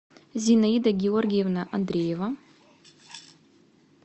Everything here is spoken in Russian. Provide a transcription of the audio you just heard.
зинаида георгиевна андреева